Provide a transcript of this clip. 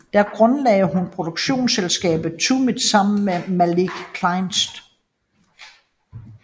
Der grundlagde hun produktionsselskabet Tumit sammen med Malik Kleist